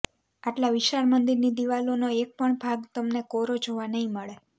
આટલા વિશાળ મંદિરની દીવાલોનો એક પણ ભાગ તમને કોરો જોવા નહી મળે